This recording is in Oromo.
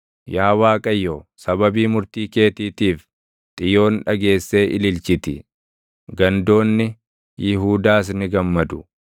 Yaa Waaqayyo, sababii murtii keetiitiif, Xiyoon dhageessee ililchiti; gandoonni Yihuudaas ni gammadu.